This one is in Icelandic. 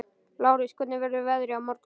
Lárus, hvernig verður veðrið á morgun?